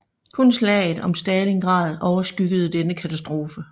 Kun slaget om Stalingrad overskyggede denne katastrofe